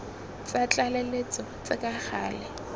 tsa tlaleletso tse ka gale